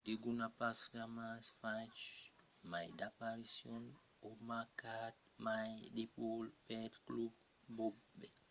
degun a pas jamai fach mai d'aparicions o marcat mai de but pel club que bobek